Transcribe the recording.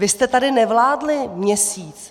Vy jste tady nevládli měsíc.